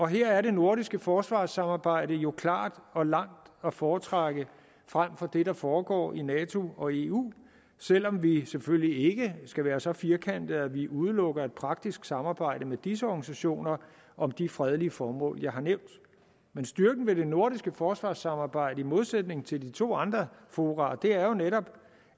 her er det nordiske forsvarssamarbejde jo klart og langt at foretrække frem for det der foregår i nato og i eu selv om vi selvfølgelig ikke skal være så firkantede at vi udelukker et praktisk samarbejde med disse organisationer om de fredelige formål jeg har nævnt men styrken ved det nordiske forsvarssamarbejde i modsætning til de to andre fora er jo netop